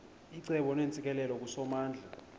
icebo neentsikelelo kusomandla